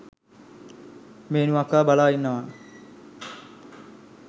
මේනු අක්කා බලා ඉන්නවා